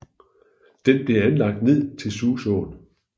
Den blev anlagt ned til Susåen